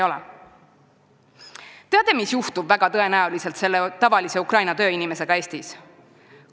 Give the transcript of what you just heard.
Teate, mis juhtub väga tõenäoliselt selle tavalise Ukraina tööinimesega Eestis?